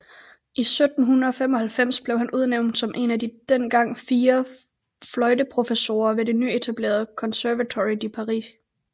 I 1795 blev han udnævnt som en af de dengang fire fløjteprofessorer ved det nyetablerede Conservatoire de Paris